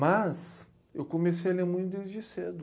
Mas eu comecei a ler muito desde cedo.